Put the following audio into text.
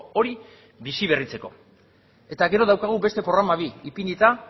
hori biziberritzeko eta gero daukagu beste programa bi ipinita